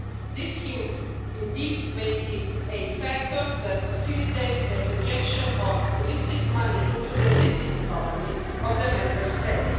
These schemes indeed may be a factor that facilitates the injection of illicit money into the licit economy of the Member State.